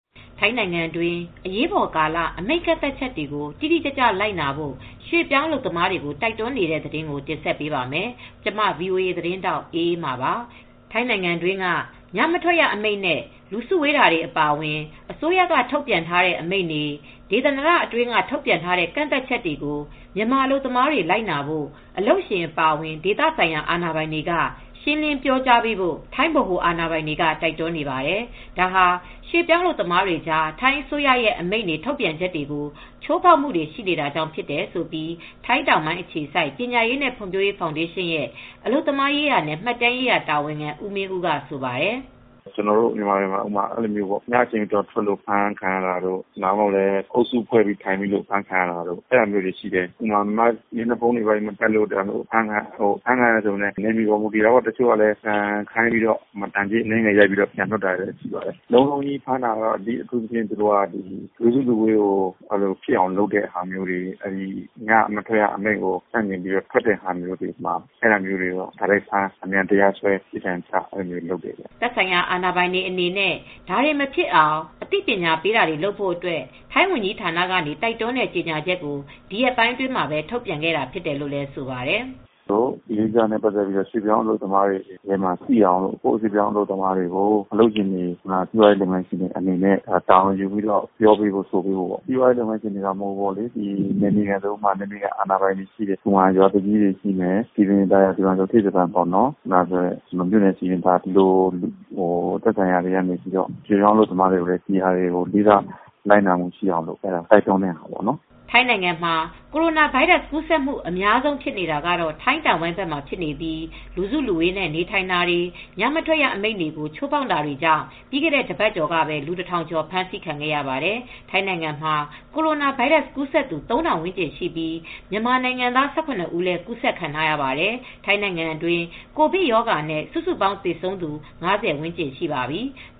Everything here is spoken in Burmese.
ထိုင်းနိုင်ငံတွင်း အရေးပေါ်ကာလ အမိန့်ကန့်သတ်ချက်တွေ တိတိကျကျ လိုက်နာဖို့ ရွှေ့ပြောင်းအလုပ်သမားတွေကို တိုက်တွန်းနေတယ်ဆိုတဲ့သတင်းကို ဗွီအိုအေမြန်မာပိုင်းသတင်းထောက် မအေးအေးမာက တင်ဆက်ပေးပါမယ်။ ထိုင်းနိုင်ငံတွင်းက ညမထွက်ရအမိန့်နဲ့ လူစုဝေးတာတွေ အပါအဝင် အစိုးရက ထုတ်ပြန်ထားတဲ့အမိန့်တွေ ဒေသန္တရအတွင်း ထုတ်ပြန်ထားတဲ့ ကန့်သတ်ချက်တွေကို မြန်မာအလုပ်သမားတွေ လိုက်နာဖို့ အလုပ်ရှင်အပါအဝင် ဒေသဆိုင်ရာ အာဏာပိုင်တွေက ရှင်းလင်းပြောကြားပေးဖို့ ထိုင်းဗဟိုအာဏာပိုင်တွေက တိုက်တွန်းနေပါတယ်။ ဒါဟာ ရွှေ့ပြောင်းအလုပ်သမားတွေကြား ထိုင်းအစိုးရရဲ့ အမိန့်တွေ ထုတ်ပြန်ချက်တွေကို ချိုးဖောက်မှုတွေ ရှိနေတာကြောင့်ဖြစ်တယ်လို့ ထိုင်းတောင်ပိုင်းအခြေစိုက်ပညာရေးနဲ့ ဖွံဖြိုးရေးဖောင်ဒေးရှင်းရဲ့ အလုပ်သမားရေးရာနဲ့ မှတ်တမ်းရေးရာတာဝန်ခံ ဦးမင်းဦးက ဆိုပါတယ်။ "ကျနော်တို့ မြန်မာတွေကြားမှာ ည အချိန်မတော်ထွက်လို့ အဖမ်းခံရတာတို့ ဒါမှမဟုတ် အုပ်စုဖွဲ့ပီးထိုင်မိလို့အဖမ်းခံရတာတို့ရှိတယ်။ ဥပမာ မျက်နှာဖုံးတို့ အဖမ်းခံရတာတွေ ရှိတယ်။ နယ်မြေပေါ်မူတည်တချို့လည်း ဒဏ်ကြေးအနည်းငယ်တွေ ရိုက်ပြီးပြန်လွှတ်တာတွေလည်းရှိတယ်။ လုံးလုံးဖမ်းတာက လူစုလူဝေးဖြစ်အောင်လုပ်တာတို့၊ ညမထွက်ရအမိန့်ကိုချိုးဖောက်ပြီး ထွက်တာတို့ဆိုရင်တော့ အမြန်ဖမ်းပြီး တရားစွဲပြီး ပြစ်ဒဏ်ချတာတွေ ရှိတယ်။" သက်ဆိုင်ရာ အာဏာပိုင်တွေအနေနဲ့ ဒါတွေ မဖြစ်အောင် အသိပညာပေးတာတွေ လုပ်ဖို့အတွက် ထိုင်းဝန်ကြီးဌာနကနေ တိုက်တွန်းတဲ့ကြေငြာချက်ကို ဒီရက်ပိုင်းမှာပဲ ထုတ်ပြန်ခဲ့တာဖြစ်တယ်လို့လည်း ဆိုပါတယ်။ "ဒီကိစ္စတွေနဲ့ ပတ်သက်လို့ ရွှေ့ပြောင်းအလုပ်သမားတွေကြားထဲမှာ သိအောင်လို့နဲ့ ကိုယ့်အလုပ်သမားတွေကို အလုပ်ရှင်တွေနဲ့ စီးပွားရေးလုပ်ငန်းရှင်တွေက တာဝန်ယူပြီးပြောကြာပေးဖို့ အလုပ်ရှင်မှ မဟုတ်ဘူး... နယ်မြေက စည်ပင်သာယာအဖွဲ့တွေ၊ နယ်မြေခံရွာသူကြီးတွေ၊ သက်ဆိုင်ရာတွေ၊ ရွှေ့ပြောင်းအလုပ်သမားတွေကို လိုက်နာမှု ရှိအောင်တိုက်တွန်းတဲ့ဟာပေါ့နော်။" ထိုင်းနိုင်ငံမှာ ကိုရိုနာဗိုင်းရပ်စ် ကူးစက်မှု အများဆုံးဖြစ်နေတာက ထိုင်းတောင်ပိုင်းဘက်မှာဖြစ်နေပြီး လူစုလူဝေးနဲ့ နေထိုင်တာတွေ ညမထွက်အမိန့်တွေကို ချိုးဖောက်တာတွေကြောင့် ပြီးခဲ့တဲ့ တပတ်ကျော်ကပဲလူ ၁,၀၀၀ ကျော် ဖမ်းဆီးခံခဲ့ရပါတယ်။ ထိုင်းနိုင်ငံမှာ ကိုရိုနာဗိုင်းရပ်စ်ကူးစက်သူ ၃,၀၀၀ ဝန်းကျင်ရှိပြီး မြန်မာနိုင်ငံသား ၁၇ ဦး ကူးစက်ခံထားရပါတယ်။ ထိုင်းနိုင်ငံတွင်း COVID-19 ရောဂါနဲ့ စုစုပေါင်းသေဆုံးသူ ၅၀ ဝန်းကျင်ရှိပါပြီ။